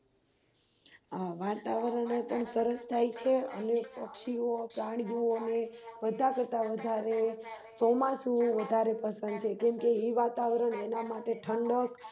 હ વાતાવરણ પણ સરસ થાય છે અનેક પક્ષીઓપ્રાણીઓ ને બધા કરતા વધારે ચોમાસું વધારે પસંદ છે કેમકે ઈ વાતાવરણ એના માટે ઠંડક